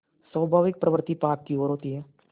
स्वाभाविक प्रवृत्ति पाप की ओर होती है